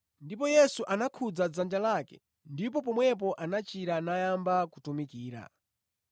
Ndipo Yesu anakhudza dzanja lake ndipo pomwepo anachira nayamba kumutumikira.